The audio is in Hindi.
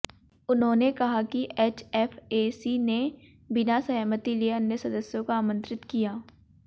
उन्होंने कहा कि एचएफएसी ने बिना सहमति लिए अन्य सदस्यों को आमंत्रित किया